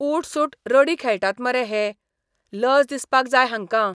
ऊठसूठ रडी खेळटात मरे हे, लज दिसपाक जाय हांकां.